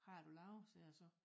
Hvad er du laver sagde jeg så